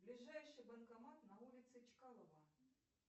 ближайший банкомат на улице чкалова